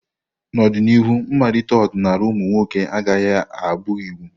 N'ọdịnihu, mmalite ọdịnala ụmụ nwoke agaghị abụ iwu.